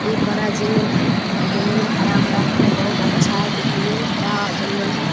एक बड़ा जंगल है और जंगल हरा-भरा है। बहुत अच्छा है दिखने मैं। बड़ा जंगल है।